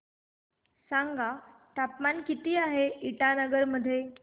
सांगा तापमान किती आहे इटानगर मध्ये